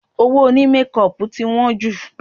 Owó òní mékọpù tí wọ́n jù